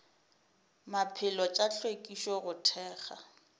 maphelo tša hlwekišo go thekga